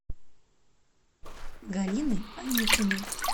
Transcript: галины аникиной